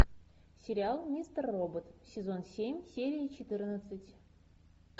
сериал мистер робот сезон семь серия четырнадцать